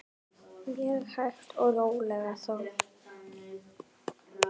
Mjög hægt og rólega þó.